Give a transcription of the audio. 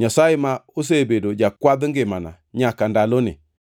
Nyasaye ma osebedo jakwadh ngimana nyaka ndaloni,